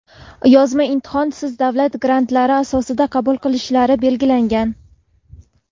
yozma imtihon)siz davlat grantlari asosida qabul qilinishlari belgilangan.